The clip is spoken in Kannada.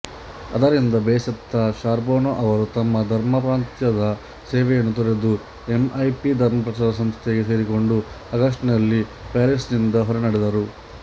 ಅದರಿಂದ ಬೇಸತ್ತ ಶಾರ್ಬೊನೊ ಅವರು ತಮ್ಮ ಧರ್ಮಪ್ರಾಂತ್ಯದ ಸೇವೆಯನ್ನು ತೊರೆದು ಎಂಇಪಿ ಧರ್ಮಪ್ರಚಾರ ಸಂಸ್ಥೆಗೆ ಸೇರಿಕೊಂಡು ಆಗಸ್ಟಿನಲ್ಲಿ ಪ್ಯಾರಿಸ್ಸಿನಿಂದ ಹೊರನಡೆದರು